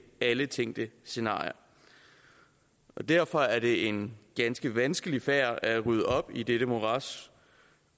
alle tænkte scenarier derfor er det en ganske vanskelig sag at rydde op i dette morads